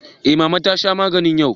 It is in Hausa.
Eh mama ta sha maganinta yau.